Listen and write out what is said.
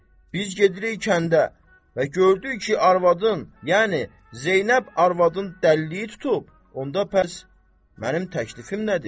Biz gedirik kəndə və gördük ki, arvadın, yəni Zeynəb arvadın dəlliyi tutub, onda bəs mənim təklifim nədir?